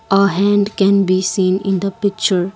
a hand can be seen in the picture